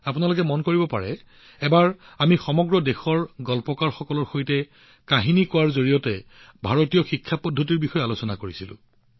আপোনালোকৰ হয়তো মনত আছে এবাৰ আমি সমগ্ৰ দেশৰ ষ্টৰী টেলাৰৰ সৈতে সাধু কোৱাৰ জৰিয়তে ভাৰতীয় শিক্ষাৰ প্ৰকাৰৰ বিষয়ে আলোচনা কৰিছিলো